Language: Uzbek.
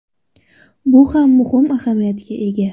Bu ham muhim ahamiyatga ega.